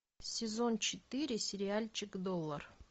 сезон четыре сериальчик доллар